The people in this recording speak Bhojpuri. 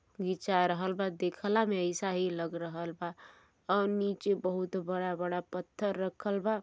घीचा रहल बा देखला में अइसा ही लग रहल बा और नीचे बहुत बड़ा बड़ा पत्थर रखल बा।